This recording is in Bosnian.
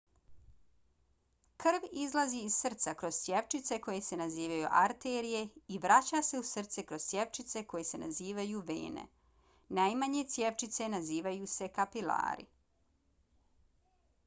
krv izlazi iz srca kroz cjevčice koje se nazivaju arterije i vraća se u srce kroz cjevčice koje se nazivaju vene. najmanje cjevčice nazivaju se kapilari